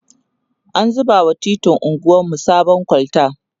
an zuba wa titin anguwarmu sabon kolta